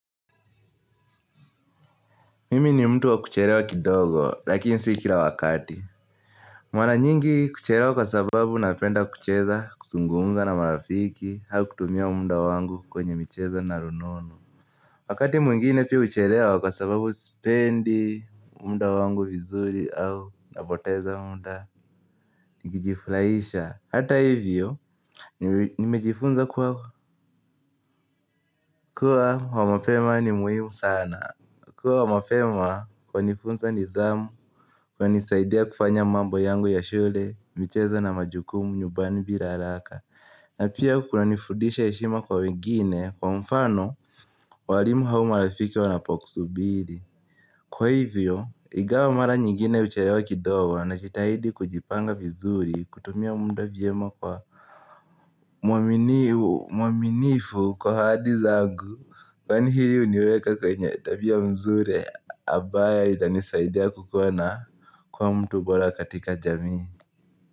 Mimi ni mtu wa kucherewa kidogo lakini si kira wakati. Maraa nyingi kucherewa kwa sababu napenda kucheza, kusungumza na marafiki au kutumia munda wangu kwenye micheza na rununu. Wakati mwingine pia uchelewa kwa sababu sipendi munda wangu vizuri au naboteza munda nikijifuraisha. Hata hivyo nimejifunza kuwa kuwa wa mapema ni muhimu sana. Kuwa wa mapema kwanifunsa nithamu, kwanisaidia kufanya mambo yangu ya shule, michezo na majukumu nyubani bila alaka. Na pia kunanifudisha heshima kwa wengine, kwa mfano, walimu au marafiki wanapokusubili. Kwa hivyo, igawa mara nyingine ucherewa kidogo najitahidi kujipanga vizuri, kutumia munda vyema kwa muaminifu kwa ahadi zangu Kwani hii uniweka kwenye tabia nzure abayo itanisaidia kukua na kua mtu bora katika jamii.